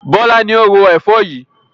Bọlá ni ó ro Ẹ̀fọ́ yìí